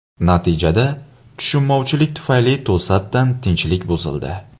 Natijada, tushunmovchilik tufayli to‘satdan tinchlik buzildi.